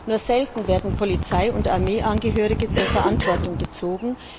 Nur selten werden Polizei und Armeeangehörige zur Verantwortung gezogen.